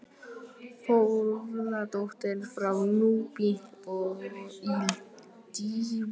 Þórðardóttir frá Núpi í Dýrafirði, Sigmundssonar.